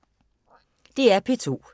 DR P2